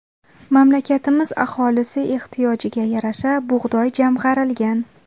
Mamlakatimiz aholisi ehtiyojiga yarasha bug‘doy jamg‘arilgan.